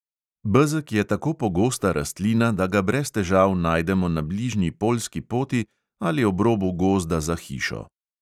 Bezeg je tako pogosta rastlina, da ga brez težav najdemo na bližnji poljski poti ali ob robu gozda za hišo.